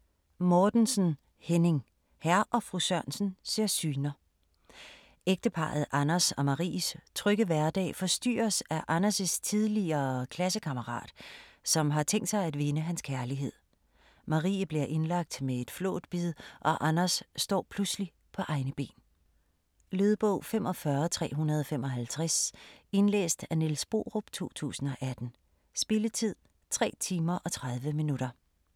Mortensen, Henning: Hr. & fru Sørensen ser syner Ægteparret Anders og Maries trygge hverdag forstyrres af Anders' tidligere klassekammerat, som har tænkt sig at vinde hans kærlighed. Marie bliver indlagt med et flåtbid og Anders står pludselig på egne ben. Lydbog 45355 Indlæst af Niels Borup, 2018. Spilletid: 3 timer, 30 minutter.